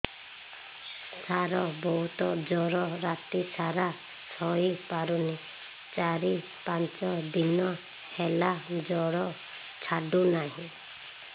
ସାର ବହୁତ ଜର ରାତି ସାରା ଶୋଇପାରୁନି ଚାରି ପାଞ୍ଚ ଦିନ ହେଲା ଜର ଛାଡ଼ୁ ନାହିଁ